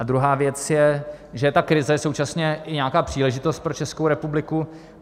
A druhá věc je, že je ta krize současně i nějaká příležitost pro Českou republiku.